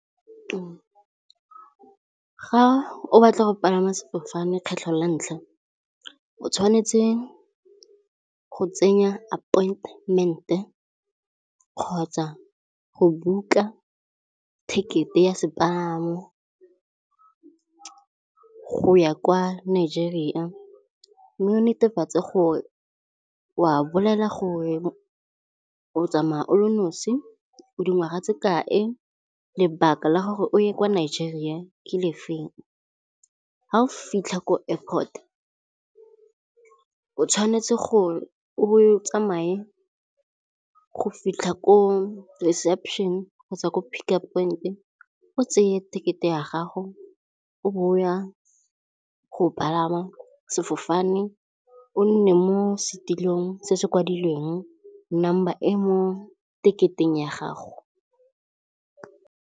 Ga o batla go palama sefofane kgetlho la ntlha o tshwanetse go tsenya appointment-e kgotsa go book-a ticket-e ya sepalamo go ya kwa Nigeria. Mme o netefatse gore wa bolela gore o tsamaya o le nosi, o dingwaga tse kae, lebaka la gore o ye kwa nageng gore ke lefeng. Ga o fitlha ko airport-o, o tshwanetse gore o tsamaye go fitlha ko reception kgotsa ko pick-up point, o tseye ticket-e ya gago, o bo ya go palama sefofane. O nne mo setilong se se kwadilweng number e mo ticket-eng ya gago.